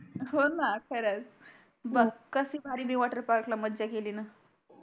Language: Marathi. हो णा खरच बग कसी भारी मी वॉटर पार्कला मजा केली णा